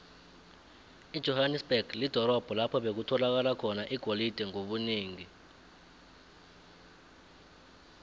ijohanesberg lidorobho lapho bekutholakala khona igolide ngobunengi